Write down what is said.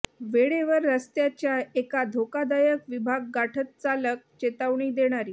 वेळेवर रस्त्याच्या एका धोकादायक विभाग गाठत चालक चेतावणी देणारी